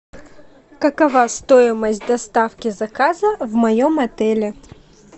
какова стоимость доставки заказа в моем отеле